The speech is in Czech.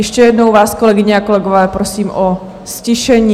Ještě jednou vás, kolegyně a kolegové, prosím o ztišení.